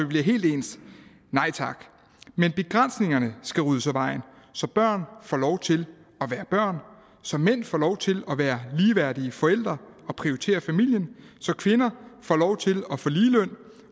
bliver helt ens nej tak men begrænsningerne skal ryddes af vejen så børn får lov til at være børn så mænd får lov til at være ligeværdige forældre og prioritere familien og så kvinder får lov til